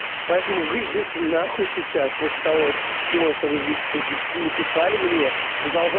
поэтому вы идёте нахуй сейчас после того всего что вы здесь тут написали мне и продолжа